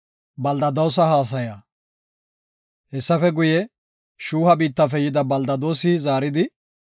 Hessafe guye, Shuuha biittafe yida Beldadoosi zaaridi,